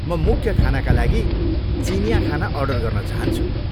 म मुख्य खानाका लागि चिनियाँ खाना अर्डर गर्न चाहन्छु।